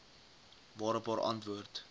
waarop haar antwoord